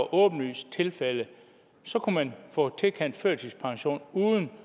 et åbenlyst tilfælde så kunne man få tilkendt førtidspension uden